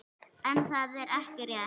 En það er ekki rétt.